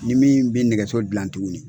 Ni min bi nɛgɛso gilan tuguni